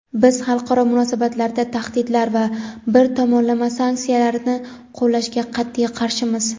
Biz xalqaro munosabatlarda tahdidlar va bir tomonlama sanksiyalarni qo‘llashga qat’iy qarshimiz.